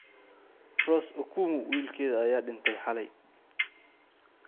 Rose okumu wiilkeeda ayaa dhintay xalay